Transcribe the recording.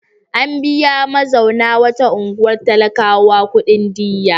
An biya mazauna wata unguwar talakawa kuɗin diyya.